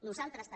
nosaltres també